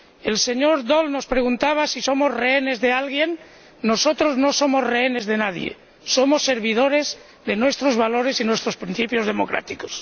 El señor Daul nos preguntaba si somos rehenes de alguien. Nosotros no somos rehenes de nadie, somos servidores de nuestros valores y nuestros principios democráticos.